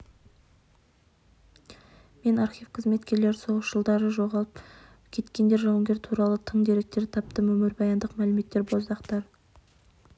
мен архив қызметкерлері соғыс жылдары жоғалып кеткен жауынгер туралы тың деректерді тапты өмірбаяндық мәліметтер боздақтар